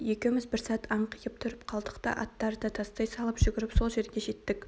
екеуіміз бір сәт аңқиып тұрып қалдық та аттарды тастай салып жүгіріп сол жерге жеттік